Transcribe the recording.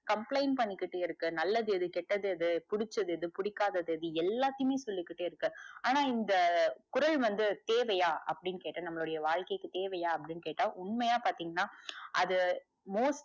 complaint பண்ணிகிட்டே இருக்கு நல்லது எது கேட்டது எது புடிச்சது எது பிடிக்காதது எது இப்படி எல்லாத்தையுமே சொல்லிகிட்டே இருக்கு ஆனா இந்த குரல் வந்து தேவையா அப்டின்னு கேட்டா நம்மளுடைய வாழ்க்கைக்கு தேவையா அப்டின்னு கேட்ட உண்மையா பாத்திங்கனா அது most